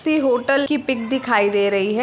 किसी होटल की पिक दिखाई दे रही है।